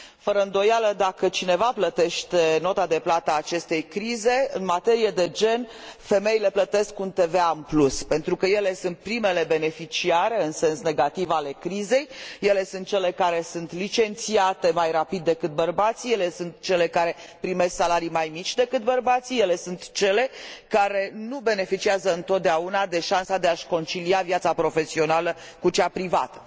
Fără îndoială, dacă cineva plătește nota de plată a acestei crize, în materie de gen femeile plătesc un TVA în plus, pentru că ele sunt primele beneficiare, în sens negativ, ale crizei, ele sunt cele care sunt licențiate mai rapid decât bărbații, ele sunt cele care primesc salarii mai mici decât bărbații, ele sunt cele care nu beneficiază întotdeauna de șansa de a și concilia viața profesională cu cea privată.